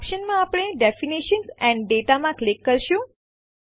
options માં આપણે definition and data માં ક્લિક કરીશું